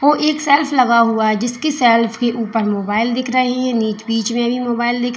ओ एक शेल्फ लगा हुआ है जिसके शेल्फ के ऊपर मोबाइल दिख रहे बीच में मोबाइल दिख रहे--